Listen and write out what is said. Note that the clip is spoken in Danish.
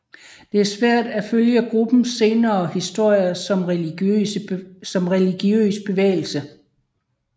Det er svært at følge gruppens senere historie som religiøs bevægelse